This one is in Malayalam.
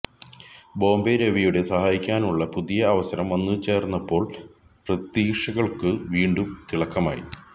ബോംബെ രവിയുടെ സഹായിയാകാനുള്ള പുതിയ അവസരം വന്നുചേര്പ്പോള് പ്രതീക്ഷകള്ക്കു വീണ്ടും തിളക്കമായി